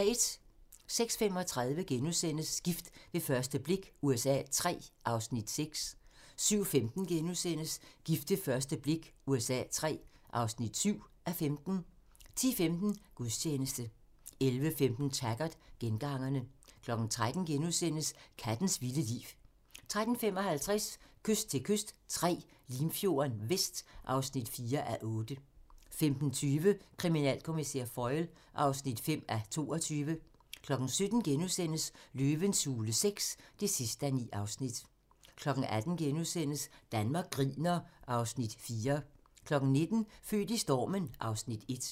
06:35: Gift ved første blik USA III (6:15)* 07:15: Gift ved første blik USA III (7:15)* 10:15: Gudstjeneste 11:15: Taggart: Gengangerne 13:00: Kattens vilde liv * 13:55: Kyst til kyst III - Limfjorden Vest (4:8) 15:20: Kriminalkommissær Foyle (5:22) 17:00: Løvens hule VI (9:9)* 18:00: Danmark griner (Afs. 4)* 19:00: Født i stormen (Afs. 1)